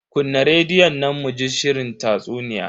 Kunna rediyon nan mu ji shirin tatsuniya.